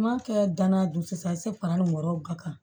N m'a kɛ danaya dugu sisan fara mɔrɔ ka kan